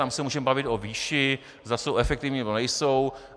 Tam se můžeme bavit o výši, zda jsou efektivní, nebo nejsou.